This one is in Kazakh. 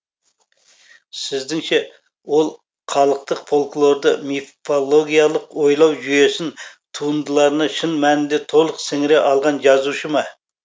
сіздіңше ол халықтық фольклорды мифологялық ойлау жүйесін туындыларына шын мәнінде толық сіңіре алған жазушы ма